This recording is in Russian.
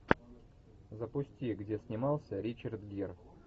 запусти где снимался ричард гир